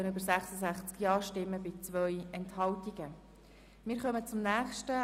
Wer dem Änderungsantrag 6 zustimmt, stimmt Ja, wer dem Änderungsantrag 7 zustimmt, stimmt Nein.